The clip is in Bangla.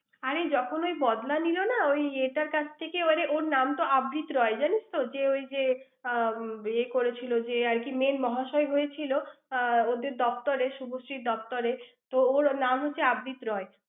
আরে যখন ঐ বদলা নিল না, ঐ এটা কাছ থেকে, আরে ওর নাম তো আবৃত রায় জানিস তো? যে, ঐ যে, আর আহ এর করেছিল, যে আরকি main মহাশয় হয়েছিল, আর আহ ওদের দফতরে, শুভশ্রীর দপ্তরে। তো ওর নাম হচ্ছে আবৃত রায়।